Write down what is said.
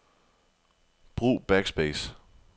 Brug backspace.